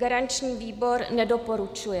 Garanční výbor nedoporučuje.